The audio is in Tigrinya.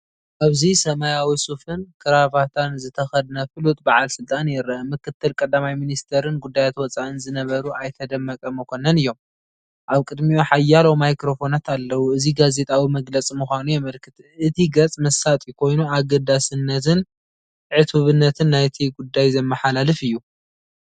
ኣብዚ ሰማያዊ ሱፍን ክራቫታን ዝተኸድነ ፍሉጥ በዓል ስልጣን ይርአ። ምክትል ቀዳማይ ሚኒስትርን ጉዳያት ወፃኢን ዝነበሩ ኣይተ ደመቀ መኮነን እዮም። ኣብ ቅድሚኡ ሓያሎ ማይክሮፎናት ኣለዉ። እዚ ጋዜጣዊ መግለጺ ምዃኑ የመልክት። እቲ ገጽ መሳጢ ኮይኑ ኣገዳስነትን ዕቱብነትን ናይቲ ጉዳይ ዘመሓላልፍ እዩ።